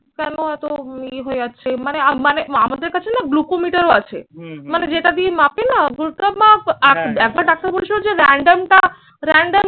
কেন এত ইয়ে হয়ে যাচ্ছে? মানে মানে আমাদের কাছে না glucometer ও আছে। মানে যেটা দিয়ে মাপে না একবার ডাক্তার বলেছিল যে random টা random